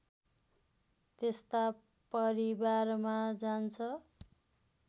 त्यस्ता परिवारमा जान्छ